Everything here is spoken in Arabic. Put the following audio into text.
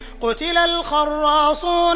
قُتِلَ الْخَرَّاصُونَ